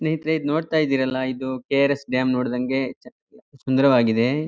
ಸ್ನೇಹಿತರೆ ಇದ್ ನೋಡ್ತಾ ಇದಿರಲಾ ಇದು ಕೆ ಆರ್ ಎಸ್ ಡ್ಯಾಮ್ ನೋಡ್ದಂಗೆ ಸುಂದರವಾಗಿದೆ.